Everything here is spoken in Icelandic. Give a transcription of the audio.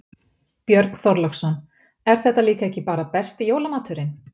Björn Þorláksson: Er þetta líka ekki bara besti jólamaturinn?